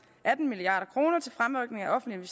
atten milliard kroner til fremrykning af offentlige